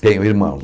Tenho irmãos.